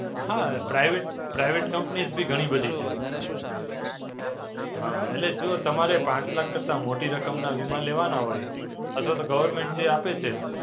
હાં, Private Private Companies બી ઘણી બધી છે. હાં, એટલે જો તમારે પાંચ લાખ કરતા મોટી રકમના વીમા લેવાના હોય અથવા તો Government જે આપે છે,